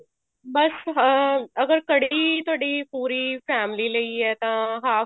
ਬੱਸ ਹਾਂ ਅਗਰ ਕੜ੍ਹੀ ਤੁਹਾਡੀ ਪੂਰੀ family ਲਈ ਹੈ ਤਾਂ half